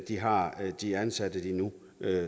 de har de ansatte de nu